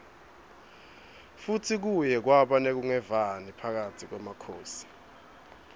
futsi kuye kwaba nekunqevani phakatsi kwemakhosi